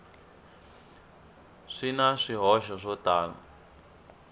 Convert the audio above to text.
swi na swihoxo swo tala